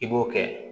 I b'o kɛ